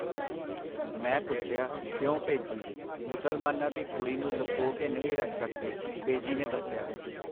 ਮੈਂ ਪੁੱਛਿਆ, ਕਿਉਂ ਭੇਜੀ? ਮੁਸਲਮਾਨਾਂ ਦੀ ਕੁੜੀ ਨੂੰ ਲੁਕੋ ਕੇ ਨਹੀਂ ਰੱਖ ਸਕਦੇ, ਬੇਜੀ ਨੇ ਦੱਸਿਆ.